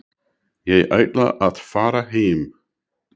Ég ætla að fara heim.